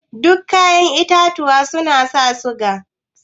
Duk kayaƴen itatuwa suna sa siga?